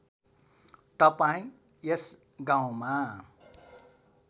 तपाईँ यस गाउँमा